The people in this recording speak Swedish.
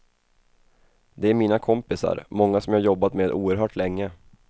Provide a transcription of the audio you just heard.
Det är mina kompisar, många som jag har jobbat med oerhört länge.